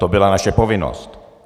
To byla naše povinnost.